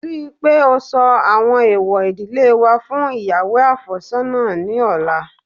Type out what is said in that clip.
Rí i pé ó sọ àwọn èèwọ̀ ìdílé wa fún ìyàwó àfẹ́sọ́nà ní ọ̀la